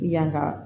Yan ka